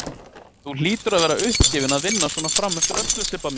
Þú hlýtur að vera uppgefin að vinna svona frameftir öllu, Sibba mín.